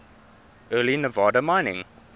early nevada mining